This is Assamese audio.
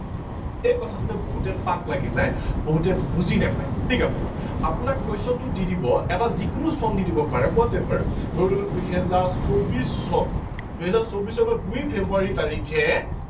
এই কথাটোতে বহুতে পাক লাগি যায় বহুতে বুজি নাপায় ঠিক আছে আপোনাক question টো দি দিব এটা যিকোনো চন দি দিব পাৰে whatever ধৰি ললো দুহেজাৰ চৌবিশ চন দুহেজাৰ চৌবিশ চনৰ দুই ফেব্ৰুৱাৰী তাৰিখে